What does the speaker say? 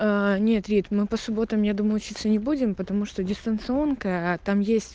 нет рит мы по субботам я думаю учиться не будем потому что дистанционка там есть